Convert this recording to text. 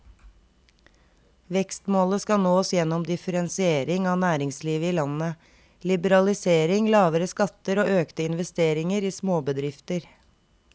Vekstmålet skal nås gjennom differensiering av næringslivet i landet, liberalisering, lavere skatter og økte investeringer i småbedrifter.